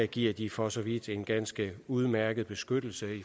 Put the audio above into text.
giver de for så vidt en ganske udmærket beskyttelse